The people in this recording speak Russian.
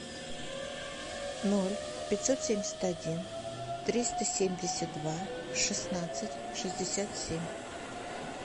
ноль пятьсот семьдесят один триста семьдесят два шестнадцать шестьдесят семь